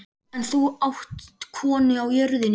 En þú átt konu á jörðinni.